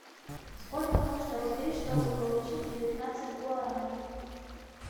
сколько нужно рублей чтобы получить девятнадцать гуарани